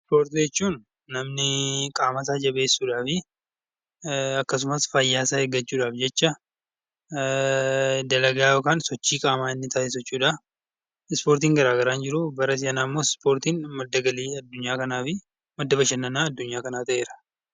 Ispoortii jechuun namni qaama isaa jabeessuuf akkasumas fayyaa isaa eeggachuudhaaf jecha dalagaa yookaan sochii qaamaa inni taasisu jechuudha. Ispoortiin garaagaraa ni jiru, bara si'anaa immoo ispoortiin madda galii adunyaa kanaa fi madda bashannanaa adunyaa kanaa ta'eera.